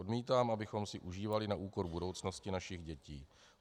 Odmítám, abychom si užívali na úkor budoucnosti našich dětí.